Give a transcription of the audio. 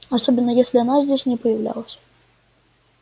особенно если она здесь не появлялась